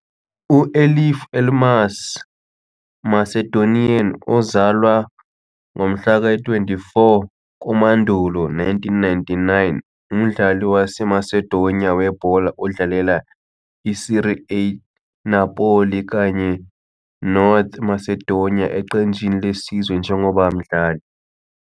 U-Elif Elmas, Macedonian, ozalwa 24 Septhemba 1999, umdlali waseMacedonia webhola odlalela Serie A club Napoli kanye North Macedonia eqenjini lesizwe njengoba mdlali.